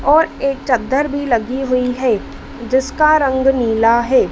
और एक चद्दर भी लगी हुई है जिसका रंग नीला है।